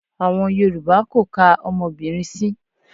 Àwọn Yorùbá kò ka ọmọbìnrin sí.